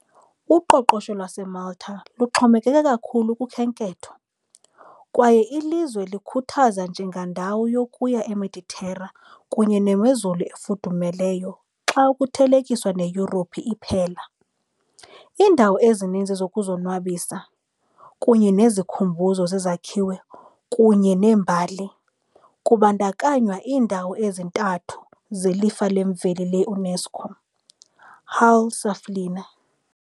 Uqoqosho lwaseMalta luxhomekeke kakhulu kukhenketho, kwaye ilizwe lizikhuthaza njengendawo yokuya eMeditera kunye nemozulu efudumeleyo xa kuthelekiswa neYurophu iphela, iindawo ezininzi zokuzonwabisa, kunye nezikhumbuzo zezakhiwo kunye nembali, kubandakanywa iindawo ezintathu zeLifa leMveli le-UNESCO - Hal Saflieni.